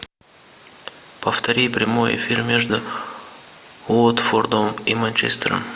повтори прямой эфир между уотфордом и манчестером